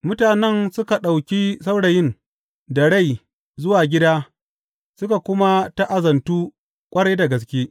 Mutanen suka ɗauki saurayin da rai zuwa gida suka kuma ta’azantu ƙwarai da gaske.